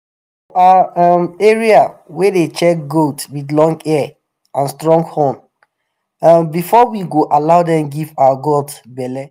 for our um area we dey check goat with long ear and strong horn um before we go allow dem give our goat belle.